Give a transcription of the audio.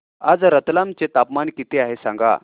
आज रतलाम चे तापमान किती आहे सांगा